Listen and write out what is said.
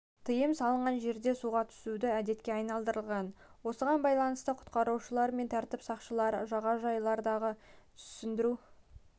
тыйым салынған жерде суға түсуді әдетке айналдырған осыған байланысты құтқарушылар мен тәртіп сақшылары жағажайлардағы түсіндіру